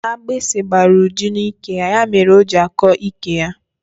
Agbịsị gbara Uju n'ike ya mere o ji akọ ike ya.